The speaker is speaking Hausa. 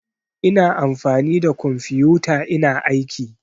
Ina amfani da kumfiyota ina aiki